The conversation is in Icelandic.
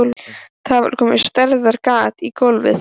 Það var komið stærðar gat í gólfið.